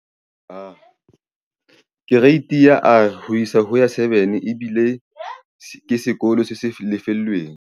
Kereiti ya R ho isa ho ya 7 ebile ke sekolo se sa lefellweng.